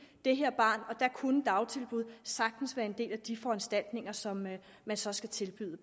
det her barn og der kunne dagtilbud sagtens være en del af de foranstaltninger som man så skal tilbyde